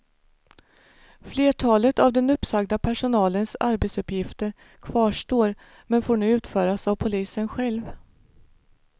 Flertalet av den uppsagda personalens arbetsuppgifter kvarstår men får nu utföras av polisen själv.